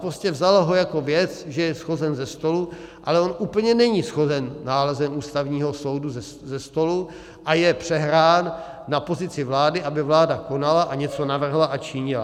Prostě vzala ho jako věc, že je shozen ze stolu, ale on úplně není shozen nálezem Ústavního soudu ze stolu a je přehrán na pozici vlády, aby vláda konala a něco navrhla a činila.